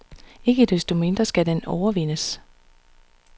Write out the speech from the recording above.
Ikke desto mindre skal den overvindes.